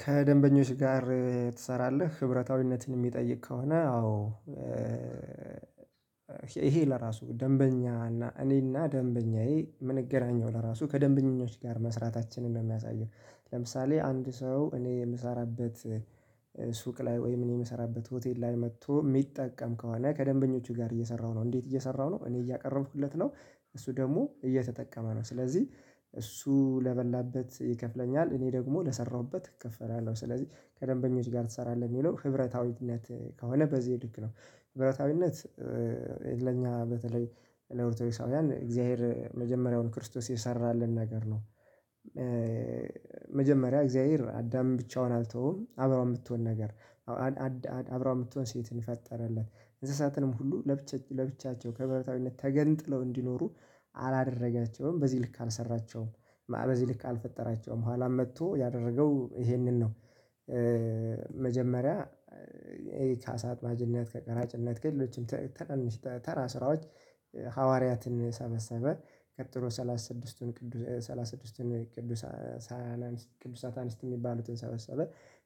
ከደንበኞች ጋር ትሰራለህ ህብረታዊነትን የሚጠይቅ ከሆነ አዎ? ይሄ ለራሱ ደንበኛ እና እኔና ደንበኛዬ የምንገናኘው ለራሱ ከደንበኞች ጋር መስራታችንን ነው የሚያሳየው። ለምሳሌ አንድ ሰው እኔ የምሰራበት ሱቅ ላይ ወይም እኔ የምሰራበት ሆቴል ላይ መጥቶ የሚጠቀም ከሆነ ከደንበኞቼ ጋር እየሰራሁ ነው እንዴት እየሰራሁ ነው እኔ እያቀረብኩለት ነው። እሱ ደግሞ እየተጠቀመ ነው ስለዚህ እሱ ለበላበት ይከፍለኛል እኔ ደግሞ ለሰራሁበት እከፈላለሁ ስለዚህ ከደንበኞች ጋር ትሰራለህ የሚለው ህብረታዊነት ከሆነ በዚህ ልክ ነው። ህብረታዊነት ለኛ በተለይ ለኦርቶዶክሳውያን እግዚአብሔር መጀመሪያውን ክርስቶስ የሰራልን ነገር ነው። መጀመሪያ እግዚአብሔር አዳምን ብቻውን አልተውም አብራው የምትሆን ነገር። አብራው የምትሆን ሴትን ፈጠረለት። እንስሳትንም ሁሉ ለብቻቸው ከህብረታዊነት ተገንጥለው እንዲኖሩ አላደረጋቸውም በዚህ ልክ አልሰራቸውም። በዚህ ልክ አልፈጠራቸውም ኋላም መጥቶ ያደረገው ይሄንን ነው። መጀመሪያ ይሄ ከአሳ አጥማጅነት ከቀራጭነት ከሌሎችም ትናንሽ ተራ ስራዎች ሐዋርያትን ሰበሰበ። ቀጥሎ ሰላሳ ስድስትቱን ቅዱስ ሰላሳ ስድስትቱን ቅዱስ ቅዱስ ሳታንስት የሚባሉትን ሰበሰበ።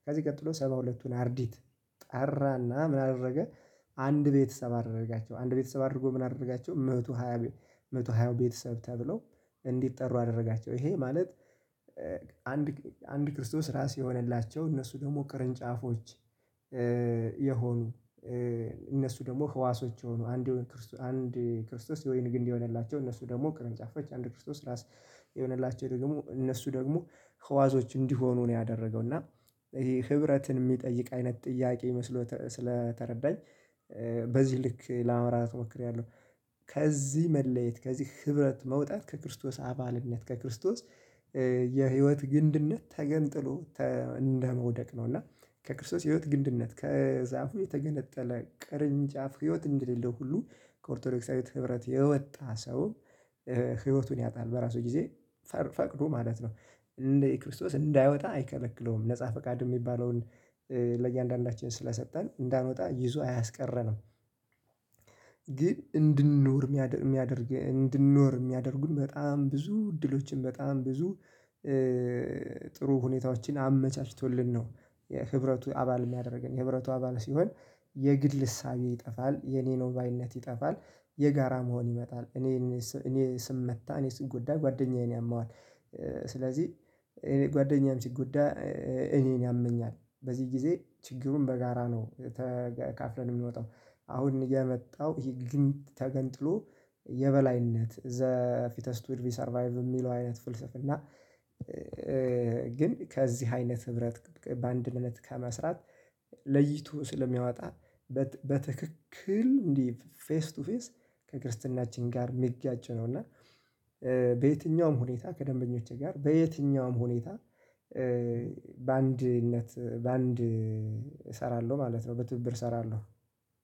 ከዚህ ቀጥሎ ሰባ ሁለትቱን አርዲት ጠራና ምን አደረገ? አንድ ቤተሰብ አደረጋቸው አንድ ቤተሰብ አድርጎ ምን አደረጋቸው መቶ ሃያ መቶ ሃያ ቤተሰብ ተብሎ እንዲጠሩ አደረጋቸው። ይሄ ማለት አንድ አንድ ክርስቶስ ራስ የሆነላቸው እነሱ ደግሞ ቅርንጫፎች። የሆኑ እነሱ ደግሞ ህዋሶች የሆኑ አንድ ክርስቶስ የወይን ግንድ የሆነላቸው እነሱ ደግሞ ቅርንጫፎች አንድ ክርስቶስ ራስ የሆነላቸው ደግሞ እነሱ ደግሞ ከዋዞች እንዲሆኑ ነው። ያደረገው እና ይሄ ህብረትን የሚጠይቅ አይነት ጥያቄ ይመስሎት ስለተረዳኝ በዚህ ልክ ለማብራራት ሞክሬያለሁ። ከዚህ መለየት ከዚህ ህብረት መውጣት ከክርስቶስ አባልነት ከክርስቶስ የህይወት ግንድነት ተገንጥሎ እንደመውደቅ ነው። እና ከክርስቶስ ህይወት ግንድነት ከዛፉ የተገነጠለ ቅርንጫፍ ህይወት እንደሌለው ሁሉ ከኦርቶዶክሳዊት ህብረት የወጣ ሰው ህይወቱን ያጣል። በራሱ ጊዜ ፈቅዶ ማለት ነው። እንደ ክርስቶስ እንዳይወጣ አይከለክለውም ነፃ ፈቃድ የሚባለውን ለእያንዳንዳችን ስለሰጠን እንዳንወጣ ይዞ አያስቀረንም። ግን እንድንኖር የሚያደርግ እንድንኖር የሚያደርጉን በጣም ብዙ እድሎችን በጣም ብዙ ጥሩ ሁኔታዎችን አመቻችቶልን ነው። የህብረቱ አባል የሚያደርገን የህብረቱ አባል ሲሆን የግድ ልሳቤ ይጠፋል የኔነው ባይነት ይጠፋል። የጋራ መሆን ይመጣል። እኔ እኔ ስመታ እኔ ስጎዳ ጓደኛዬን ያመዋል። ስለዚህ እኔ ጓደኛም ሲጎዳ እኔን ያመኛል በዚህ ጊዜ ችግሩን በጋራ ነው ተካፍለን የምንወጣው። አሁን የመጣው ይሄ ግን ተገንጥሎ የበላይነት ዘ ፊተስት ዊድ ሰርቫይቭ የሚለው አይነት ፍልስፍና። ግን ከዚህ አይነት ህብረት በአንድነት ከመስራት ለይቶ ስለሚያወጣ በትክክል እንደ ፌስ ቱ ፌስ ከክርስትናችን ጋር የሚጋጭ ነው። እና በየትኛውም ሁኔታ ከደንበኞቼ ጋር በየትኛውም ሁኔታ በአንድነት በአንድ እሰራለሁ ማለት ነው በትብብር እሰራለሁ